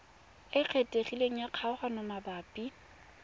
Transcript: e kgethegileng ya kgaoganyo mabapi